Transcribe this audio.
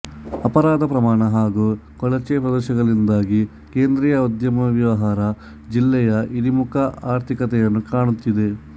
ಅಪರಾಧ ಪ್ರಮಾಣ ಹಾಗೂ ಕೊಳಚೆ ಪ್ರದೇಶಗಳಿಂದಾಗಿ ಕೇಂದ್ರೀಯ ಉದ್ಯಮವ್ಯವಹಾರ ಜಿಲ್ಲೆಯು ಇಳಿಮುಖ ಆರ್ಥಿಕತೆಯನ್ನು ಕಾಣುತ್ತಿದೆ